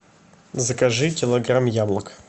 закажи килограмм яблок